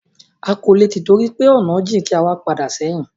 A kò lè tìtorí pé ọ̀nà jìn kí a wá padà sẹ́hìn.